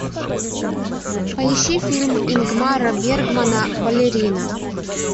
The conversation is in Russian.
поищи фильм ингмара бергмана балерина